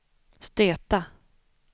stöta